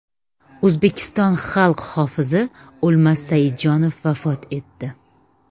O‘zbekiston xalq hofizi O‘lmas Saidjonov vafot etdi.